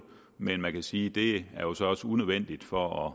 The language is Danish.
men man kan sige at det jo så også er unødvendigt for at